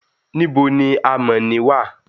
nibo ni amọ ni wa?